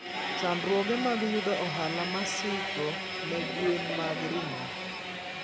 Chandruoge mag yudo ohala masiko ne gwen mag ring'o.